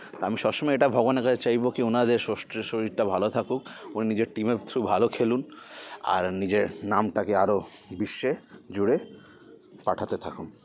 আমি সবসময় এটা ভগবানের কাছে চাইবো কি ওনাদের শশট শরীরটা ভালো থাকুক উনি নিজের team -এর through ভালো খেলুন আর নিজের নামটাকে আরও বিশ্বে জুড়ে পাঠাতে থাকুক